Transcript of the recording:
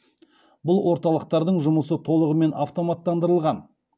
бұл орталықтардың жұмысы толығымен автоматтандырылған